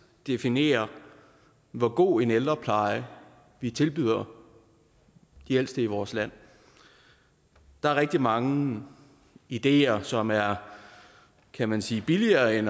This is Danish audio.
definerer hvor god en ældrepleje vi tilbyder de ældste i vores land der er rigtig mange ideer som er kan man sige billigere end